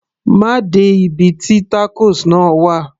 má de ibi tí tacos náà wà